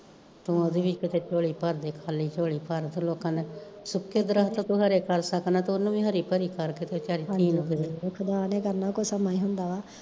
ਤੂੰ ਓਦੀ ਵੀ ਕਿਤੇ ਝੋਲੀ ਭਰਦੇ ਖਾਲੀ ਝੋਲੀ ਭਰ, ਲੋਕਾਂ ਦੇ ਸੁੱਕੇ ਦਰੱਖਤ ਤੂੰ ਹਰੇ ਕਰ ਸਕਦਾਂ ਤਾਂ ਓਨੁ ਵੀ ਹਰੀ ਭਰੀ ਕਰ ਕਿਤੇ